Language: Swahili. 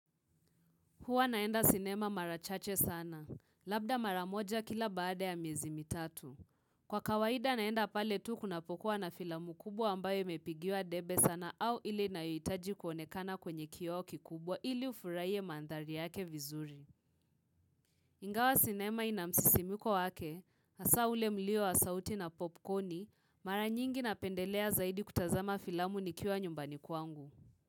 Hua naenda sinema mara chache sana, labda mara moja kila baada ya miezi mitatu. Kwa kawaida naenda pale tu kunapokuwa na filamu kubwa ambayo imepigiwa debe sana au ili inahitaji kuonekana kwenye kioo kikubwa ili ufuraiye mandhari yake vizuri. Ingawa sinema inamsisimiko wake, hasa ule mlio asauti na popcorni, mara nyingi na pendelea zaidi kutazama filamu nikiwa nyumbani kwangu.